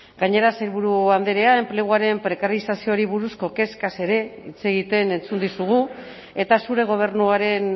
gainera sailburu andrea enpleguaren prekarizazioari buruzko kezkaz ere hitz egiten entzun dizugu eta zure gobernuaren